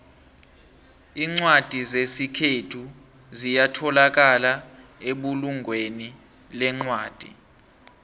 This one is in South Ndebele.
incwadi zesikhethu ziyatholakala ebulungweni lencwadi